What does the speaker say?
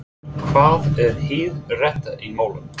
En hvað er hið rétta í málinu?